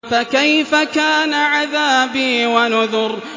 فَكَيْفَ كَانَ عَذَابِي وَنُذُرِ